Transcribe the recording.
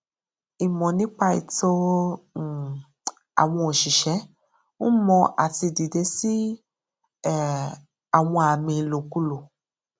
ìmọ nípa ẹtọ um àwọn òṣìṣẹ n mọ àti dìde sí um àwọn àmì ìlòkulò